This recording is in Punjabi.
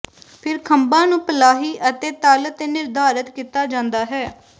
ਫਿਰ ਖੰਭਾਂ ਨੂੰ ਪਲਾਹੀ ਅਤੇ ਤਲ ਤੇ ਨਿਰਧਾਰਤ ਕੀਤਾ ਜਾਂਦਾ ਹੈ